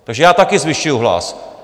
Takže já také zvyšuji hlas.